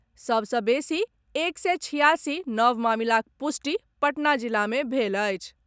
सभ सँ बेसी एक सय छियासी नव मामिलाक पुष्टि पटना जिला मे भेल अछि।